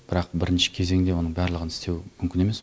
бірақ бірінші кезеңде оның барлығын істеу мүмкін емес